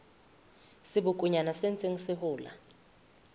sebokonyana se ntseng se hola